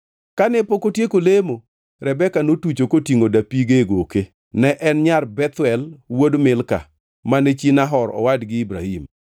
Kane pok otieko lemo, Rebeka notucho kotingʼo dapige e goke. Ne en nyar Bethuel wuod Milka, mane chi Nahor owadgi Ibrahim.